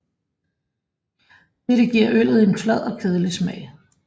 Dette giver øllet en flad og kedelig smag